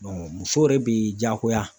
muso yɛrɛ de bi jagoya